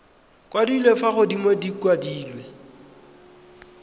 kwadilwe fa godimo di kwadilwe